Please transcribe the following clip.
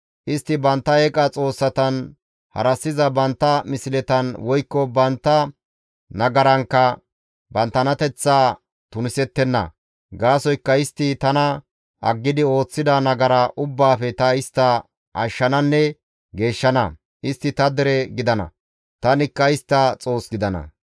Istti bantta eeqa xoossatan, harassiza bantta misletan, woykko bantta nagarankka banttanateththaa tunisettenna. Gaasoykka istti tana aggidi ooththida nagara ubbaafe ta istta ashshananne geeshshana; istti ta dere gidana; tanikka istta Xoos gidana.